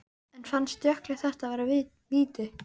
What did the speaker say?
En fannst Jökli þetta vera víti?